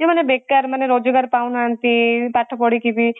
ଯୋଉ ମାନେ ବେକାର ମାନେ ରୋଜଗାର ପାଉ ନାହାନ୍ତି ପାଠ ପଢିକି ବି